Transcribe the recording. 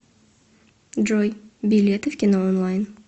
джой билеты в кино онлайн